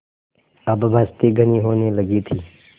अब बस्ती घनी होने लगी थी